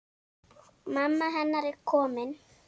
Mamma hennar komin.